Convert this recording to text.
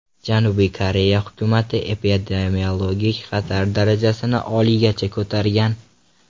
Janubiy Koreya hukumati epidemiologik xatar darajasini oliygacha ko‘targan.